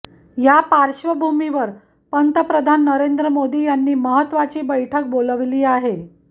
यापार्श्वभुमीवर पंतप्रधान नरेंद्र मोदी यांनी महत्वाची बैठक बोलावली आहे